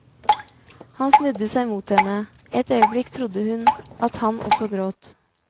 Han snudde seg mot henne, et øyeblikk trodde hun at han også gråt.